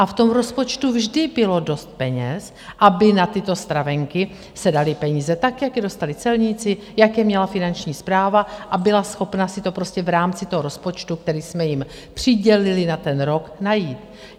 A v tom rozpočtu vždy bylo dost peněz, aby na tyto stravenky se daly peníze, tak jak je dostali celníci, jak je měla Finanční správa, a byla schopna si to prostě v rámci toho rozpočtu, který jsme jim přidělili na ten rok, najít.